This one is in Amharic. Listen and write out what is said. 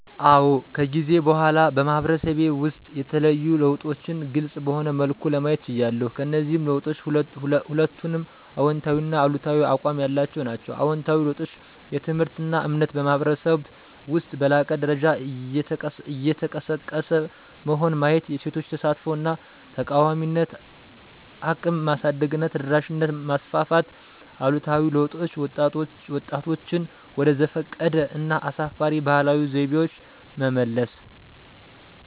አዎ ከጊዜ በኋላ በማህበረሰቤ ውስጥ የተለዩ ለውጦችን ግልፅ በሆነ መልኩ ለማየት ችያለሁ። ከእነዚህ ለውጦች ሁለቱንም አዎንታዊና አሉታዊ አቋም ያላቸው ናቸው። አዎንታዊ ለውጦች: ትምህርትና እምነት በማኅበረሰብ ውስጥ በላቀ ደረጃ እየተቀሰቀሰ መሆን ማየት የሴቶች ተሳትፎ እና ተቃዋሚነት እቅም ማሳደግና ተደራሽነት ማስፋፋት አሉታዊ ለውጦች: ወጣቶችን ወደ ዘፈቀደ እና አሳፋሪ ባህላዊ ዘይቤዎች መመለስ።